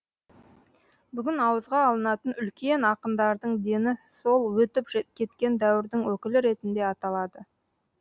бүгін ауызға алынатын үлкен ақындардың дені сол өтіп кеткен дәуірдің өкілі ретінде аталады